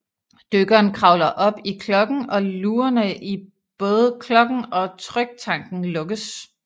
Dykkeren kravler op i klokken og lugerne i både klokken og tryktanken lukkes